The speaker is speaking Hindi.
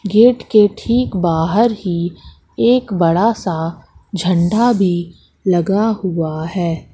गेट के ठीक बाहर ही एक बड़ा सा झंडा भी लगा हुआ है।